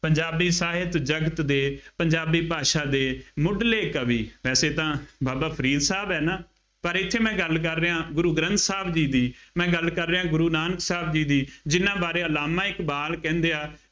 ਪੰਜਾਬੀ ਸਾਹਿਤ ਜਗਤ ਦੇ ਪੰਜਾਬੀ ਭਾਸ਼ਾ ਦੇ ਮੁੱਢਲੇ ਕਵੀ ਵੈਸੇ ਤਾਂ ਬਾਬਾ ਫਰੀਦ ਸਾਹਿਬ ਹੈ ਨਾ, ਪਰ ਇੱਥੇ ਮੈਂ ਗੱਲ ਕਰ ਰਿਹਾਂ, ਗੁਰੂ ਗ੍ਰੰਥ ਸਾਹਿਬ ਜੀ ਦੀ, ਮੈਂ ਗੱਲ ਕਰ ਰਿਹਾਂ ਗੁਰੂ ਨਾਨਕ ਸਾਹਿਬ ਜੀ ਦੀ, ਜਿੰਨ੍ਹਾ ਬਾਰੇ ਅਲਾਮਾ ਇਕਬਾਲ ਕਹਿੰਦੇ ਆ